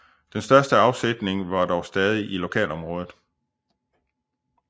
Den største afsætning var dog stadig i lokalområdet